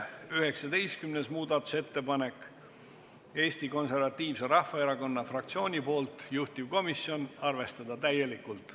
19. muudatusettepaneku on esitanud Eesti Konservatiivse Rahvaerakonna fraktsioon, juhtivkomisjoni otsus on arvestada seda täielikult.